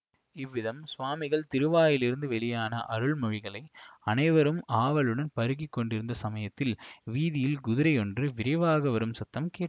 இவ்விதம் சுவாமிகளின் திருவாயிலிருந்து வெளியான அருள் மொழிகளை அனைவரும் ஆவலுடன் பருகிக் கொண்டிருந்த சமயத்தில் வீதியில் குதிரையொன்று விரைவாக வரும் சத்தம் கேட்